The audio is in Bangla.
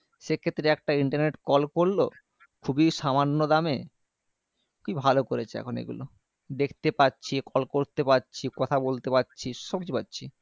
সেক্ষেত্রে একটা internet call করলো খুবই সামান্য দামে কি ভালো করেছে এখন এগুলো দেখতে পারছি Call করতে পারছি কথা বলতে পারছি সবকিছুই পারছি